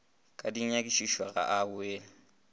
ka dinyakišišo ga a boele